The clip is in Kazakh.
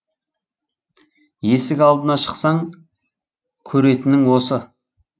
есік алдына шықсаң көретінің осы